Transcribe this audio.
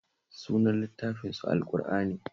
Sunan littafinsu Al-ƙur'ani